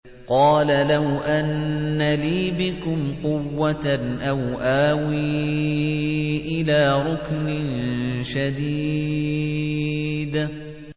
قَالَ لَوْ أَنَّ لِي بِكُمْ قُوَّةً أَوْ آوِي إِلَىٰ رُكْنٍ شَدِيدٍ